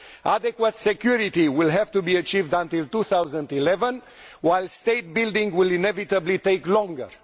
Adequate security will have to be achieved by 2011, while state building will inevitably take longer.